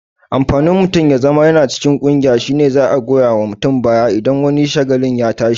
Amfanin mutum ya zama yana cikin ƙungiya shine za'a goya wa mutum baya idan wani shagalinsa ya tashi